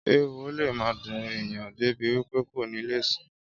Ééwo le ma dun èèyàn débi wípé kò ní le sùn